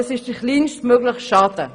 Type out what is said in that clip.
Dies ist der kleinstmögliche Schaden.